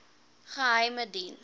geheimediens